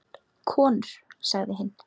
Konur sagði hinn.